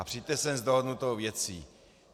A přijďte sem s dohodnutou věcí.